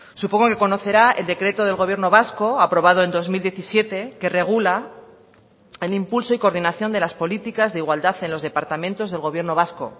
supongo que conocerá el decreto del gobierno vasco aprobado en dos mil diecisiete que regula el impulso y coordinación de las políticas de igualdad en los departamentos del gobierno vasco